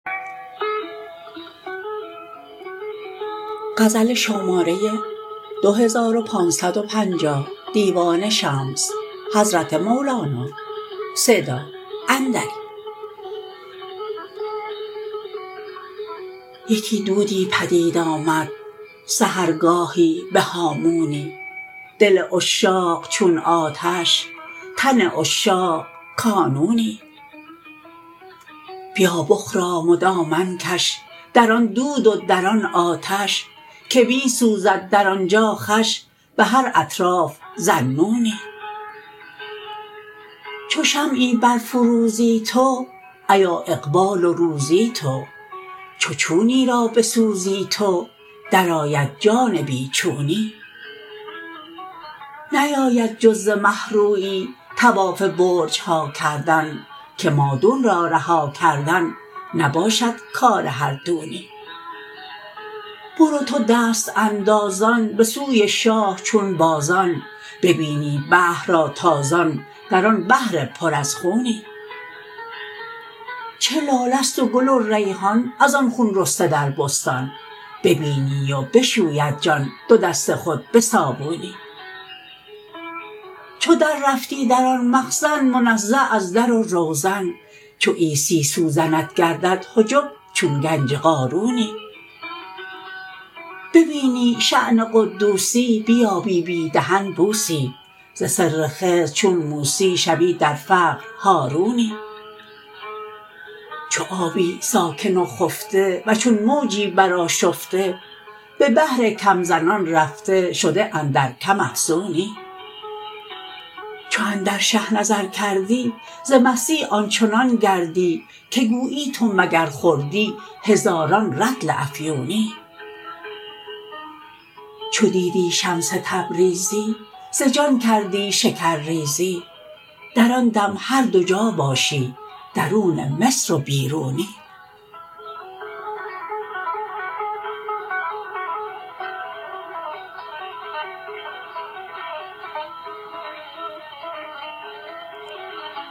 یکی دودی پدید آمد سحرگاهی به هامونی دل عشاق چون آتش تن عشاق کانونی بیا بخرام و دامن کش در آن دود و در آن آتش که می سوزد در آن جا خوش به هر اطراف ذاالنونی چو شمعی برفروزی تو ایا اقبال و روزی تو چو چونی را بسوزی تو درآید جان بی چونی نیاید جز ز مه رویی طواف برج ها کردن که مادون را رها کردن نباشد کار هر دونی برو تو دست اندازان به سوی شاه چون باران ببینی بحر را تازان در آن بحر پر از خونی چه لاله است و گل و ریحان از آن خون رسته در بستان ببینی و بشوید جان دو دست خود به صابونی چو دررفتی در آن مخزن منزه از در و روزن چو عیسی سوزنت گردد حجب چون گنج قارونی ببینی شاه قدوسی بیابی بی دهن بوسی ز سر خضر چون موسی شوی در فقر هارونی چو آبی ساکن و خفته و چون موجی برآشفته به بحر کم زنان رفته شده اندر کم افزونی چو اندر شه نظر کردی ز مستی آن چنان گردی که گویی تو مگر خوردی هزاران رطل افیونی چو دیدی شمس تبریزی ز جان کردی شکرریزی در آن دم هر دو جا باشی درون مصر و بیرونی